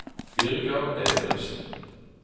Birger Evensen